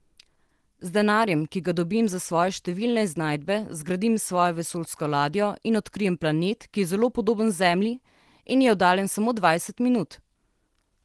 Z denarjem, ki ga dobim za svoje številne iznajdbe, zgradim svojo vesoljsko ladjo in odkrijem planet, ki je zelo podoben Zemlji in je oddaljen samo dvajset minut.